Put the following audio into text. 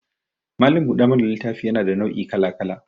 Malam buɗe mana littafi yana da nau' I kala-kala